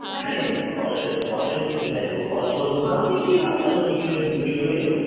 ଘରେ ଘରେଏମିତି କେତେ ଖାଇଦବୁ ଘର ବିକ୍ରି ହୁଏ? ଆମେ ଅଳ୍ପ ଖାଉ, ହଁ ଆଉ ଯାହା ସବୁ ବିକ୍ରି ହୁଏ ଆଉ,